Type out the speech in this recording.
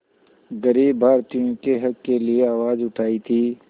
ग़रीब भारतीयों के हक़ के लिए आवाज़ उठाई थी